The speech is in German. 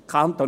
Der Kanton